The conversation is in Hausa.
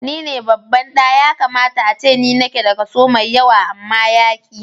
Ni ne babban ɗa, ya kamata ace ni nake da kaso mai yawa amma yaƙi.